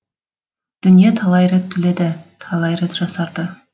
дүние талай рет түледі талай рет жасарды